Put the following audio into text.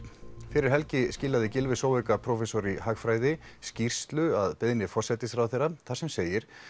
fyrir helgi skilaði Gylfi prófessor í hagfræði skýrslu að beiðni forsætisráðherra þar sem segir